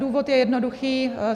Důvod je jednoduchý.